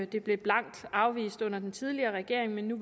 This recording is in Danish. det blev blankt afvist under den tidligere regering men nu